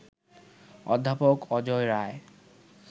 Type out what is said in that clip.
অধ্যাপক অজয় রায়